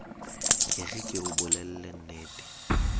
e re ke o bolellennete